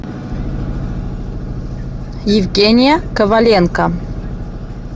евгения коваленко